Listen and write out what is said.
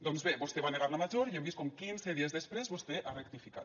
doncs bé vostè va negar la major i hem vist com quinze dies després vostè ha rectificat